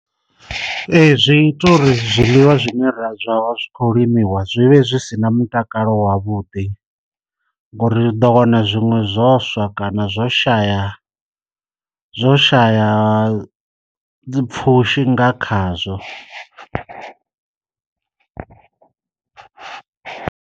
Ee zwi ita uri zwiḽiwa zwine ra zwi kho limiwa zwi vhe zwi si na mutakalo wavhuḓi, ngori ri ḓo wana zwiṅwe zwoswa kana zwo u shaya zwo shaya pfushi nga khazwo.